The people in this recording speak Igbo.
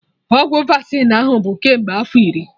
Ọgwụ Vasịn ahụ bụ kemgbe afọ iri!